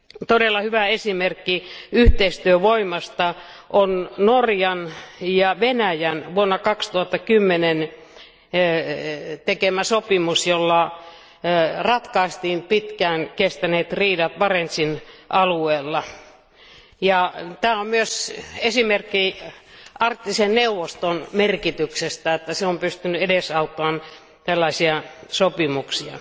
Todella hyvä esimerkki yhteistyövoimasta on Norjan ja Venäjän vuonna 2010 tekemä sopimus, jolla ratkaistiin pitkään kestäneet riidat Barentsin alueella. Tämä on myös esimerkki Arktisen neuvoston merkityksestä, että se on pystynyt edesauttamaan tällaisia sopimuksia.